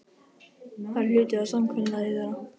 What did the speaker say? Það er hluti af samkomulagi þeirra.